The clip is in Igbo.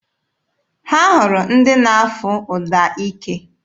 Ha hụrụ ndị na-afụ trọmpeetị.